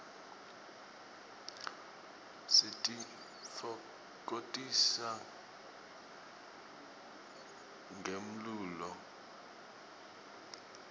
sititfokotisa ngemlulo